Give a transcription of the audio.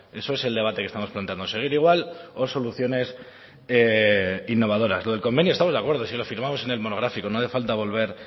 eso es el debate que estamos planteando seguir igual o soluciones innovadoras lo del convenio estamos de acuerdo si lo firmamos en el monográfico no hace falta